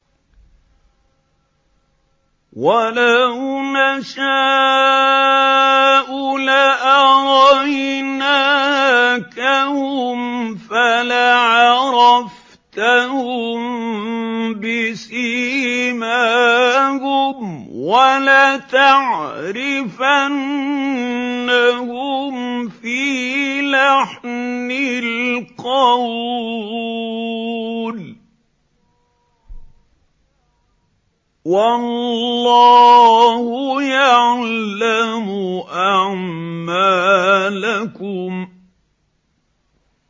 وَلَوْ نَشَاءُ لَأَرَيْنَاكَهُمْ فَلَعَرَفْتَهُم بِسِيمَاهُمْ ۚ وَلَتَعْرِفَنَّهُمْ فِي لَحْنِ الْقَوْلِ ۚ وَاللَّهُ يَعْلَمُ أَعْمَالَكُمْ